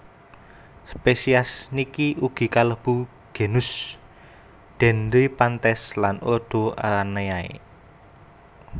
Spesies niki ugi kalebu genus Dendryphantes lan ordo Araneae